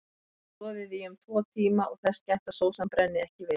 Soðið í um tvo tíma og þess gætt að sósan brenni ekki við.